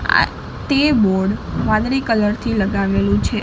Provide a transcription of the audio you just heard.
આ તે બોર્ડ વાદળી કલર થી લગાવેલું છે.